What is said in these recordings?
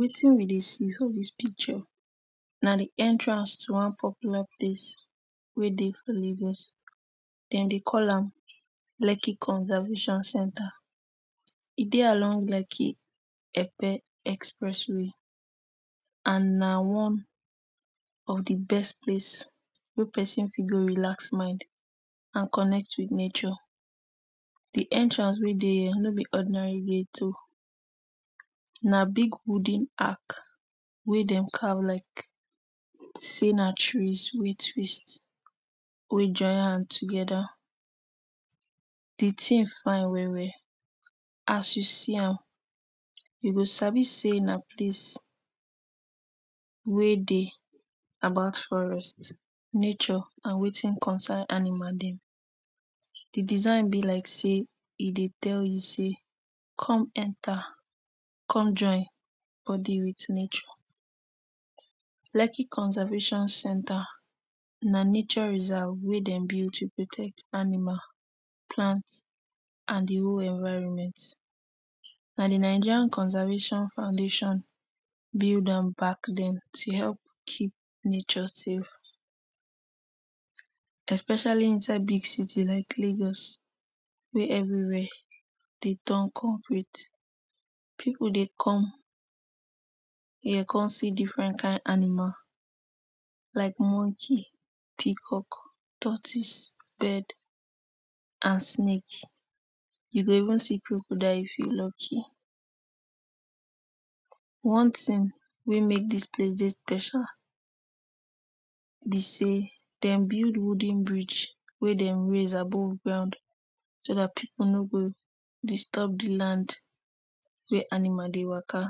Watin we dey see for dis picture, na di entrance to one popular place wey dey for Lagos dem dey call am Lekki conservation center. E dey along Lekki-Epe express way and na one of di best place wey pesin fit go relax mind and connect wit nature, di entrance wey dey here no be ordinary gate o, nab g wooden ark wey dem carve like sey na trees wey twist, wey join hand together. Di tin fine well well, as you see am you gosabi sey na place wey dey about forest, nature and watin concern animal dem. Di design be like sey e dey tell you say, come enter, come join body wit nature. Lekki conservation center na nature reserve wey dem build to protect animal, plant and di whole environment. Na di Nigerian Conservation Foundation build am back den to help keep nature safe especially inside big city like Lagos wey everywia dey turn complete. Pipu dey come hia come see different kain animal like monkey, peacock, tortoise, bird and snake, you go even see concordial if you lucky. One tin wey make dis place dey special be sey dem build wooden bridge wey dem raise above ground, so dat pipu no go disturb di land wey animal dey waka,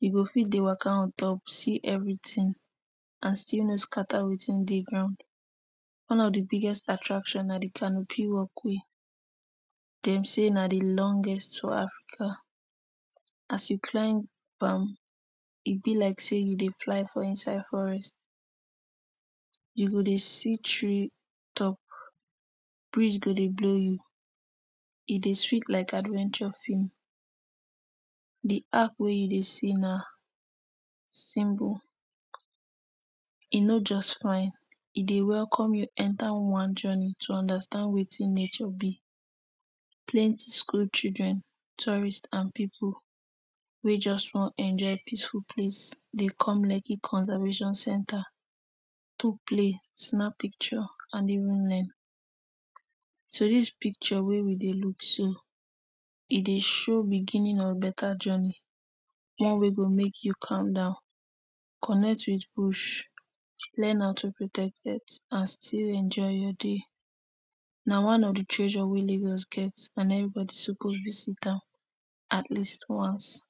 you go fit dey waka on top, see everytin and still no scatter watin dey ground. One of di biggest attraction na di canopy walk way, dem say na di longest for Africa, as you climb am e be like sey you dey fly for inside forest, you go dey see tree top, breeze go dey blow you, e dey sweet like adventure film. Di arc wey you dey see na symbol, e no just fine, e dey welcome you enter one journey to understand watin nature be, plenty school children, tourists and pipu wey just wan enjoy peaceful place dey come Lekki Conservation center. To play, snap ppicture and even learn so dis picture wey we dey look so, e dey show beginning of beta journey one wey go make you calm down, connect wit bush, learn how too protect pet and still enjoy your day. Na one of di tressure wey lagos get and every body suppose visit am at least once.